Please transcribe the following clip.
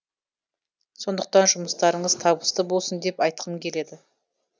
сондықтан жұмыстарыңыз табысты болсын деп айтқым келеді